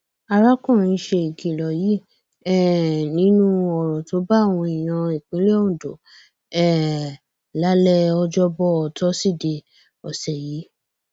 arákùnrin ṣe ìkìlọ yìí um nínú ọrọ tó báwọn èèyàn ìpínlẹ ondo um lálẹ ọjọbọ tosidee ọsẹ yìí